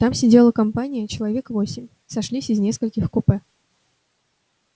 там сидела компания человек восемь сошлись из нескольких купе